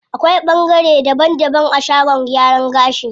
Akwai ɓangare daban daban a shagon gyaran gashi.